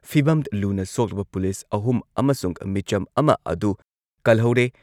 ꯐꯤꯚꯝ ꯂꯨꯅ ꯁꯣꯛꯂꯕ ꯄꯨꯂꯤꯁ ꯑꯍꯨꯝ ꯑꯃꯁꯨꯡ ꯃꯤꯆꯝ ꯑꯃ ꯑꯗꯨ ꯀꯜꯍꯧꯔꯦ꯫